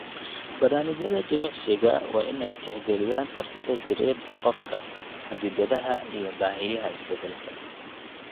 Barnaamijyada jimicsiga waa in ay tixgeliyaan kartida jireed ee qofka, xaddidaadaha, iyo baahiyaha isbeddelka.